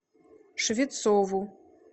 швецову